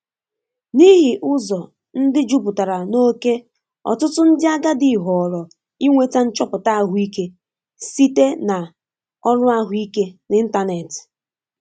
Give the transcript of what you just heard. N’ihi ụzọ ndị jupụtara n’oké ọtụtụ ndị agadi họọrọ ịnweta nchọpụta ahụike site na ọrụ ahụike n’ịntanetị.